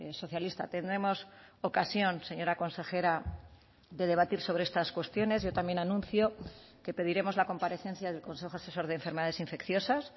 socialista tendremos ocasión señora consejera de debatir sobre estas cuestiones yo también anuncio que pediremos la comparecencia del consejo asesor de enfermedades infecciosas